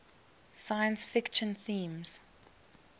science fiction themes